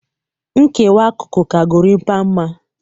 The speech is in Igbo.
Nkewa akụkụ ka Gorimpa mma